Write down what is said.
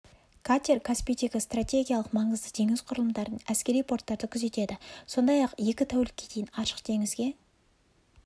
катер каспийдегі стратегиялық маңызды теңіз құрылымдарын әскери порттарды күзетеді сондай-ақ екі тәулікке дейін ашық теңізге